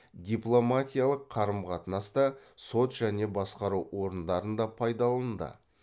дипломатиялық қарым қатынаста сот және басқару орындарында пайдаланылды